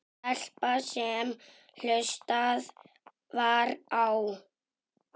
Stelpa sem hlustað var á.